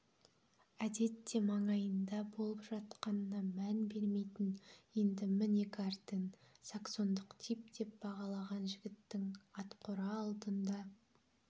әдетте маңайында боп жатқанына мән бермейтін енді міне гартен саксондық тип деп бағалаған жігіттің атқора алдында